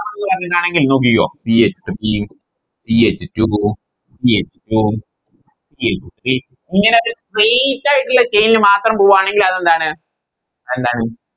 അങ്ങനെ ആണെങ്കിൽ നോക്കിക്കോ Ch three ch two ch two ch three ഇങ്ങനെ Space ആയിട്ടുള്ള Chain ല് മാത്രം പോവൂആണെങ്കി അതെന്താണ് എന്താണ്